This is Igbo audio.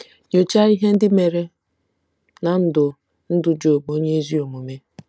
Nyochaa ihe ndị mere ná ndụ ndụ Job onye ezi omume.